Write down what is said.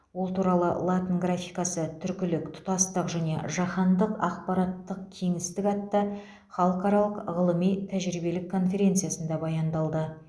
ол туралы латын графикасы түркілік тұтастық және жаһандық ақпараттық кеңістік атты халықаралық ғылыми тәжірибелік конференциясында баяндалды